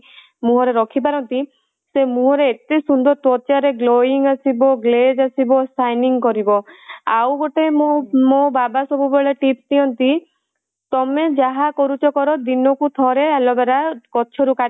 ମୁହଁ ରେ ରଖିପାରନ୍ତି ସେ ମୁହଁ ରେ ଏତେ ସୁନ୍ଦର ତ୍ୱଚା ରେ glowing ଆସିବ, glaze ଆସିବ, shining କରିବ ଆଉ ଗୋଟେ ମୋ ମୋ ବାବା ସବୁବେଳେ tip ଦିଅନ୍ତି ତମେ ଯାହା କରୁଛ କର ଦିନକୁ ଥରେ aloe vera ଗଛ ରୁ କାଟି